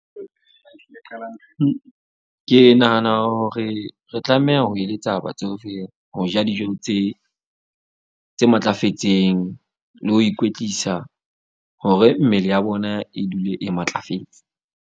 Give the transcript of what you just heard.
Ke nahana hore re tlameha ho eletsa batsofe, ho ja dijong tse matlafetseng, le ho ikwetlisa hore mmele ya bona e dule e matlafetse.